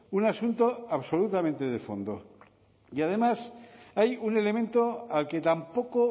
un asunto absolutamente de fondo y además hay un elemento al que tampoco